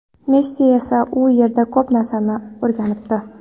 Messi esa u yerda ko‘p narsani o‘rganibdi.